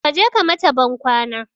Kaje ka mata ban kwana